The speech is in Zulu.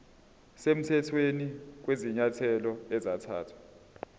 semthethweni kwezinyathelo ezathathwa